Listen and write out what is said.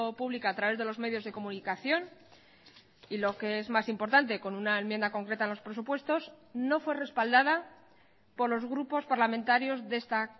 pública a través de los medios de comunicación y lo que es más importante con una enmienda concreta en los presupuestos no fue respaldada por los grupos parlamentarios de esta